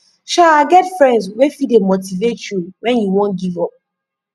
sha get friends wey fit dey motivate yu wen yu wan giv up